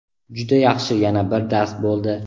Juda yaxshi yana bir dars bo‘ldi.